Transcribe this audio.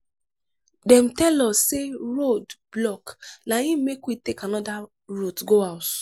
dem tell us sey road block na im make we take anoda route go house.